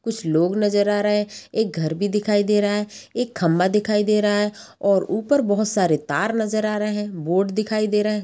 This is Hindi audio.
कुछ लोग नजर आ रहे एक घर भी दिखाई दे रहा है एक खंभा दिखाई दे रहा है और ऊपर बहुज सारे तार नज़र आ रहे है बोर्ड दिखाई दे रहे।